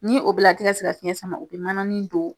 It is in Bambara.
Ni o bɛɛ la, a te ka se ka fiɲɛ sama, u be manani don